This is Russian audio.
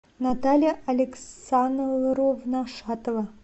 наталья александровна шатова